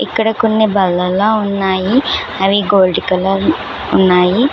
ఇక్కడ కొన్ని భల్లల్ల ఉన్నాయి అవి గోల్డ్ కలర్ ఉన్నాయి.